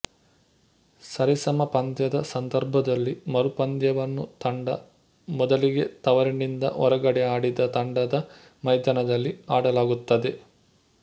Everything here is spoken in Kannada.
ಸರಿಸಮ ಪಂದ್ಯದ ಸಂದರ್ಭದಲ್ಲಿ ಮರುಪಂದ್ಯವನ್ನು ತಂಡ ಮೊದಲಿಗೆ ತವರಿನಿಂದ ಹೊರಗಡೆ ಆಡಿದ ತಂಡದ ಮೈದಾನದಲ್ಲಿ ಆಡಲಾಗುತ್ತದೆ